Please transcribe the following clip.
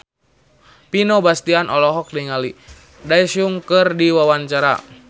Vino Bastian olohok ningali Daesung keur diwawancara